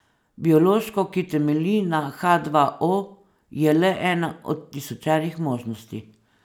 Biološko, ki temelji na ha dva o, je le ena od tisočerih možnosti.